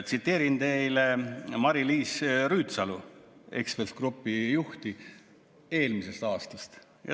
Tsiteerin teile Mari-Liis Rüütsalu, Ekspress Grupi juhti, eelmisest aastast.